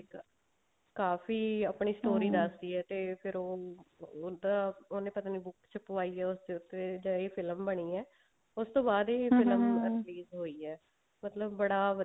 ਕਾਫੀ ਆਪਣੀ ਦੱਸਦੀ ਆ ਤੇ ਫ਼ੇਰ ਉਹ ਉਹਦਾ ਉਹਨੇ ਪਤਾ ਨੀ book ਚ ਪਵਾਈ ਆ ਉਸਦੇ ਉੱਤੇ film ਬਣੀ ਹੈ ਉਸਤੋਂ ਬਾਅਦ ਹੀ release ਹੋਈ ਹੈ ਮਤਲਬ ਬੜਾ